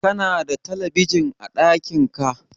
kana da talabijin a dakin ka?